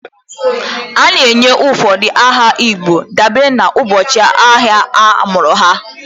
A na-enye ụfọdụ aha igbo dabere n'ụbọchị ahịa a mụrụ ha.